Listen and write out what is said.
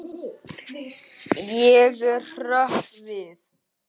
Ég hrökk við.